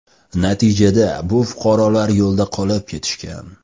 Natijada bu fuqarolar yo‘lda qolib ketishgan.